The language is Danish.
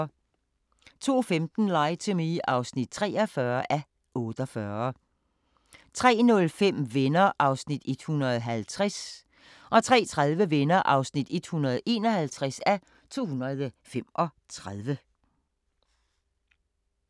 02:15: Lie to Me (43:48) 03:05: Venner (150:235) 03:30: Venner (151:235)